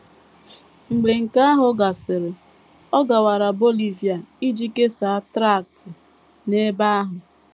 Mgbe nke ahụ gasịrị, ọ gawara Bolivia iji kesaa traktị n’ebe ahụ.